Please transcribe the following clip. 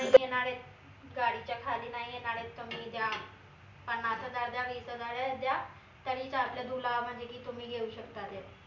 येनारायत गाडीच्या खाली नाई येनारायत तुम्ही द्या पन्नास हजार द्या वीस हजार द्या द्या तरी तुला म्हनजे की तुम्ही घेऊ शकता ते